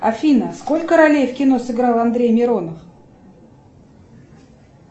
афина сколько ролей в кино сыграл андрей миронов